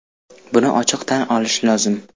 Buni ochiq tan olish lozim.